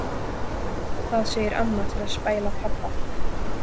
Það segir amma til að spæla pabba.